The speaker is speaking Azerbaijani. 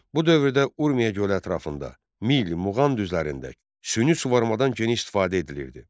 Bu dövrdə Urmiya gölü ətrafında, mil, muğan düzlərində süni suvarımadan geniş istifadə edilirdi.